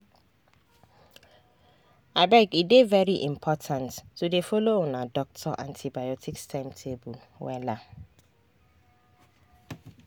abege dey very important to dey follow una doctor antibiotics timetable wella